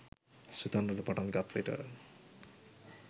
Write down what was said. සිතන්නට පටන් ගත් විට